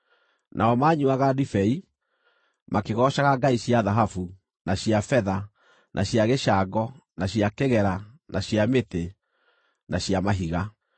Nao maanyuuaga ndibei, makĩgoocaga ngai cia thahabu, na cia betha, na cia gĩcango, na cia kĩgera, na cia mĩtĩ, na cia mahiga.